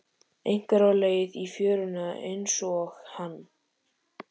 Einhver á leið í fjöruna einsog hann.